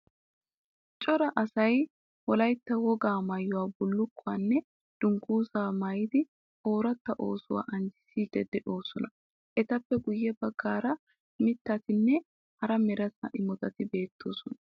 Cora asay wolayitta wogaa maayuwa bullukkuwaanne dungguzaa maayidi ooratta oosuwa anjjissiiddi de'oosona. Etappe guyye baggaara mittatinne hara mereta imotati beettoosona.